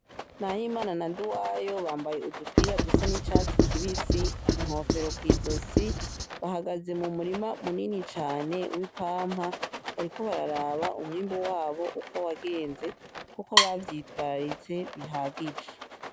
Nahimana na Nduwayo bambaye udupira dusa n'icatsi kibisi, inkofero kw'izosi , bahagaze mu murima munini cane w'ipampa, bariko bararaba umwimbu wabo uko wagenze, ko bavyitwararitse bihagije.